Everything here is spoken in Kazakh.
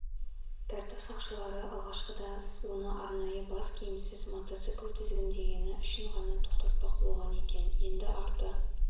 тәртіп сақшылары алғашқыда оны арнайы бас киімсіз мотоцикл тізгіндегені үшін ғана тоқтатпақ болған екен енді арты